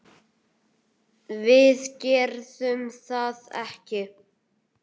Við gerðum það ekki.